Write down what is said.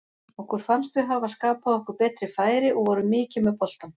Okkur fannst við hafa skapað okkur betri færi og vorum mikið með boltann.